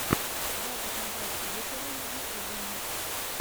запись наташи быковой в ютюбе